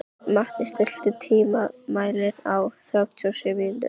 Matti, stilltu tímamælinn á þrjátíu og sjö mínútur.